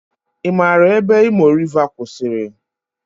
I maara ebe Imo Riva kwụsịrị?